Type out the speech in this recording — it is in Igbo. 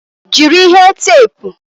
Jiri ihe teepu!